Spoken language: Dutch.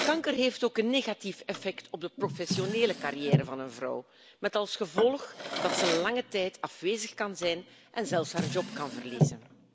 Kanker heeft ook een negatief effect op de professionele carrière van een vrouw, met als gevolg dat ze lange tijd afwezig kan zijn en zelfs haar baan kan verliezen.